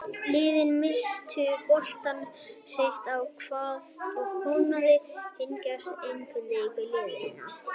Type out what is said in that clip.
Liðin misstu boltann sitt á hvað og hnoð og hnjask einkenndu leik liðanna.